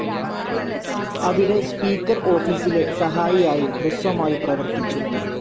അവിടെ, സ്പീക്കർ ഓഫീസിലെ സഹായിയായി ഹ്രസ്വമായി പ്രവർത്തിച്ചു.